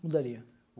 Mudaria.